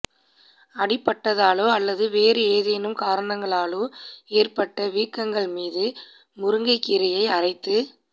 அடிபட்டதாலோ அல்லது வேறு ஏதேனும் காரணங்களாலோ ஏற்பட்ட வீக்கங்கள் மீது முருங்கைக்கீரையை அரைத்து